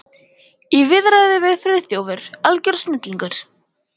Í viðræðu var Friðþjófur algjör snillingur.